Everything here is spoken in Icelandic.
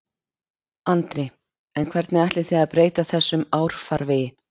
Andri: En hvernig ætlið þið að breyta þessum árfarvegi?